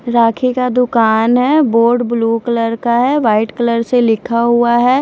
राखी का दूकान है बोर्ड ब्लू कलर का है वाइट कलर से लिखा हुआ है।